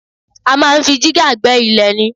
A máa ń fi jígà gbẹ́ ilẹ̀ ni